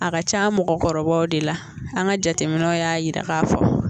A ka c'an mɔgɔkɔrɔbaw de la an ka jateminɛnw y'a yira ka fɔ